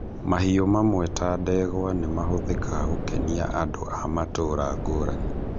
Mahiũ mamwe ta ndegwa nĩ mahũthikaga gũkenia andũ a matũra ngũrani